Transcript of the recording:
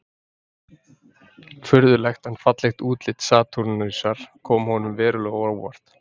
Furðulegt en fallegt útlit Satúrnusar kom honum verulega á óvart.